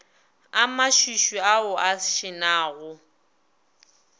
a mašwišwi ao a šenago